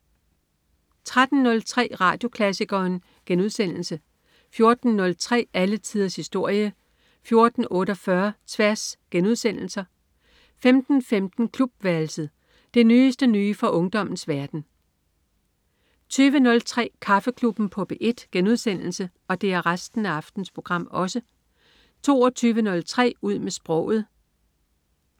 13.03 Radioklassikeren* 14.03 Alle tiders historie* 14.48 Tværs* 15.15 Klubværelset. Det nyeste nye fra ungdommens verden 20.03 Kaffeklubben på P1* 22.03 Ud med sproget*